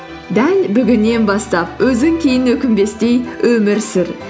дәл бүгіннен бастап өзің кейін өкінбестей өмір сүр